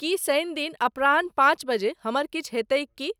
की शनि दिन अपराह्न पाँच बजे हमर किछु हेतैक की?